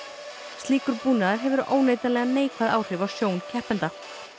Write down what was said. slíkur búnaður hefur óneitanlega neikvæð áhrif á sjón keppenda